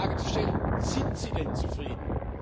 Da ist doch die Frage zu stellen Sind sie denn zufrieden?